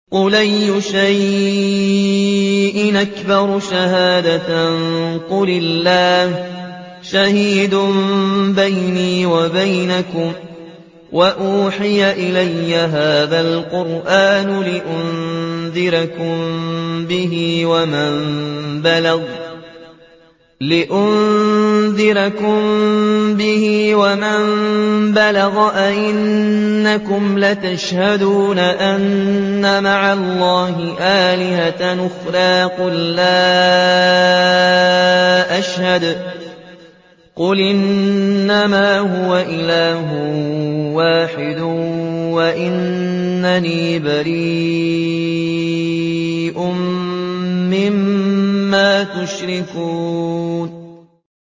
قُلْ أَيُّ شَيْءٍ أَكْبَرُ شَهَادَةً ۖ قُلِ اللَّهُ ۖ شَهِيدٌ بَيْنِي وَبَيْنَكُمْ ۚ وَأُوحِيَ إِلَيَّ هَٰذَا الْقُرْآنُ لِأُنذِرَكُم بِهِ وَمَن بَلَغَ ۚ أَئِنَّكُمْ لَتَشْهَدُونَ أَنَّ مَعَ اللَّهِ آلِهَةً أُخْرَىٰ ۚ قُل لَّا أَشْهَدُ ۚ قُلْ إِنَّمَا هُوَ إِلَٰهٌ وَاحِدٌ وَإِنَّنِي بَرِيءٌ مِّمَّا تُشْرِكُونَ